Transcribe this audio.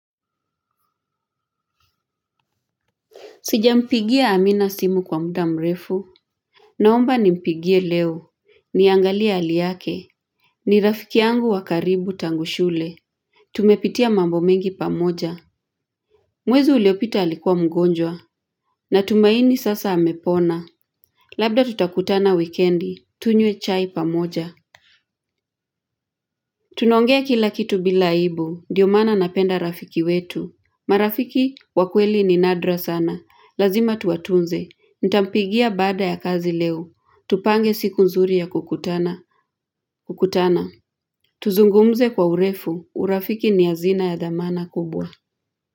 Sijampigia Amina simu kwa muda mrefu, naomba nimpigie leo, niangalia hali yake, ni rafiki yangu wa karibu tangu shule. Tumepitia mambo mengi pamoja, mwez uliopita alikuwa mgonjwa. Natumaini sasa amepona. Labda tutakutana wikendi, tunywe chai pamoja. Tunaongea kila kitu bila aibu, ndiyo maana napenda rafiki wetu. Marafiki wakweli ni nadra sana, lazima tuwatunze. Nitampigia baada ya kazi leo, tupange siku nzuri ya kukutana. Kukutana, tuzungumze kwa urefu. Urafiki ni azina ya dhamana kubwa.